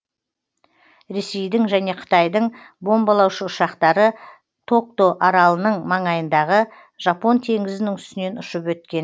ресейдің және қытайдың бомбалаушы ұшақтары токто аралының маңайындағы жапон теңізінің үстінен ұшып өткен